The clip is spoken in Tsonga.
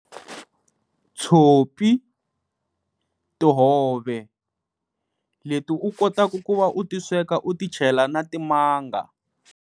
Tshopi, tihove leti u kotaka ku va u ti sweka u ti chela na timanga.